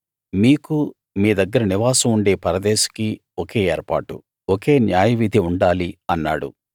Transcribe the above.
మీకూ మీ దగ్గర నివాసం ఉండే పరదేశికీ ఒకే ఏర్పాటు ఒకే న్యాయవిధి ఉండాలి అన్నాడు